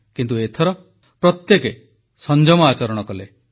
କିନ୍ତୁ ଏଥର ପ୍ରତ୍ୟେକେ ସଂଯମ ଆଚରଣ କଲେ